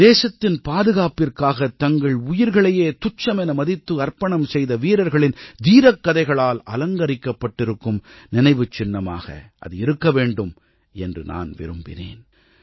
தேசத்தின் பாதுகாப்பிற்காகத் தங்கள் உயிர்களையே துச்சமென மதித்து அர்ப்பணம் செய்த வீரர்களின் தீரக்கதைகளால் அலங்கரிக்கப்பட்டிருக்கும் நினைவுச் சின்னமாக அது இருக்கவேண்டும் என்று நான் விரும்பினேன்